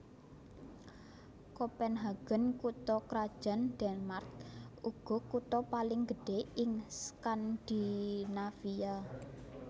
Kopenhagen kutha krajan Denmark uga kutha paling gedhé ing Skandinavia